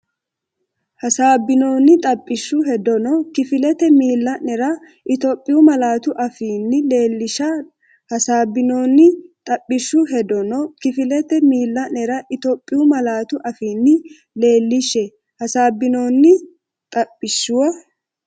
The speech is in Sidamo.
Hasaabbinoonni xaphishshu hedono kifilete miilla’nera Itophiyu malaatu afiinni leellishshe Hasaabbinoonni xaphishshu hedono kifilete miilla’nera Itophiyu malaatu afiinni leellishshe Hasaabbinoonni xaphishshu.